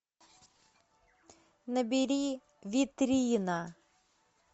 набери витрина